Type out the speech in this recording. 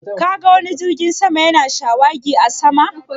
Ka ga wani jirgin sama ya na shawagi a sama?